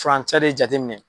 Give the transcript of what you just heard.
Furan cɛ de jateminɛ.